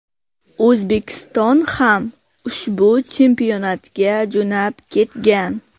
O‘zbekiston ham ushbu chempionatga jo‘nab ketgan.